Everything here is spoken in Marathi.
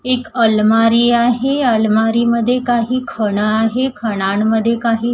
एक अलमारी आहे अलमारी मध्ये काही खणा आहे खणांमध्ये काही--